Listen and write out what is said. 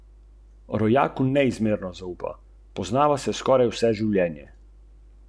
Torej bi moral jaz nositi dvesto dvajset kilogramov.